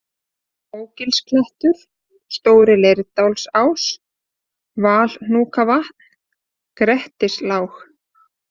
Mógilsklettur, Stóri-Leirdalsás, Valhnúkavatn, Grettislág